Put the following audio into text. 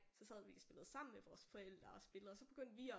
Så sad vi og spillede sammen med vores forældre og spillede og så begyndte vi at